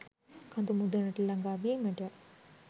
කඳු මුදුනට ළඟාවීමට